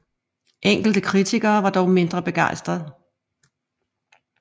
Enkelte kritikere var dog mindre begejstrede